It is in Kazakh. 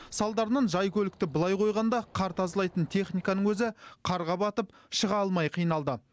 салдарынан жай көлікті былай қойғанда қар тазалайтын техниканың өзі қарға батып шыға алмай қиналды